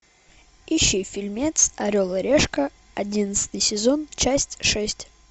ищи фильмец орел и решка одиннадцатый сезон часть шесть